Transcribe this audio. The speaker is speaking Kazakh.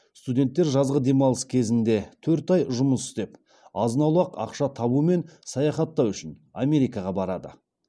студенттер жазғы демалыс кезінде төрт ай жұмыс істеп азын аулақ ақша табу мен саяхаттау үшін америкаға барады